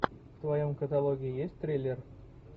в твоем каталоге есть триллер